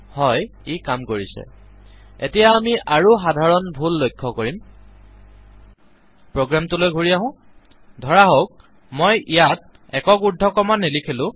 হ্য় ই কাম কৰিছে এতিয়া আমি আৰু সাধাৰণ ভুল লক্ষ্য কৰিম প্ৰোগ্ৰামটোলৈ ঘূৰি আহো ধৰাহওঁক মই ইয়াত একক উৰ্দ্ধকমা নিলিখিলো